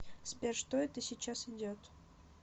сбер что это сейчас идет